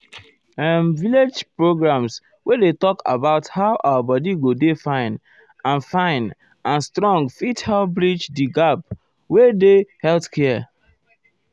erm village programs wey dey talk about how our body go dey fine and fine and strong fit help bridge theerm gap wey dey healthcare.